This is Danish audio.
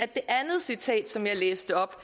det andet citat som jeg læste op